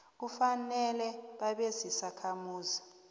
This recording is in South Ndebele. kufanele babe zizakhamuzi